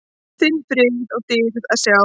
þinn frið og dýrð að sjá.